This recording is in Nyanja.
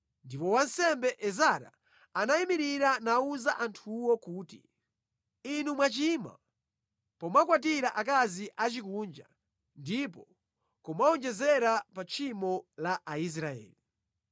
Ndipo wansembe Ezara anayimirira nawuza anthuwo kuti, “Inu mwachimwa pomakwatira akazi achikunja ndi kumawonjezera pa tchimo la Aisraeli.